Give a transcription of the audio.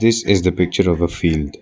This is the picture of a field.